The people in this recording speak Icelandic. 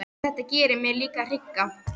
En þetta gerir mig líka hrygga.